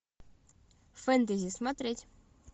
фэнтези смотреть